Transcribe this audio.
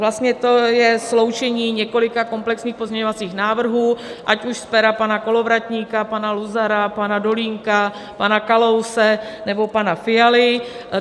Vlastně to je sloučení několika komplexních pozměňovacích návrhů, ať už z pera pana Kolovratníka, pana Luzara, pana Dolínka, pana Kalouse nebo pana Fialy.